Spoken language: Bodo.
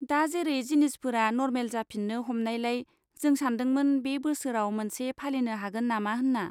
दा जेरै जिनिसफोरा नरमाल जाफिन्नो हमनायलाय, जों सान्दोंमोन बे बोसोराव मोनसे फालिनो हागोन नामा हेन्ना।